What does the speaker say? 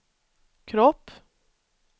kropp